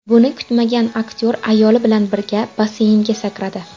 Buni kutmagan aktyor ayoli bilan birga basseynga sakradi.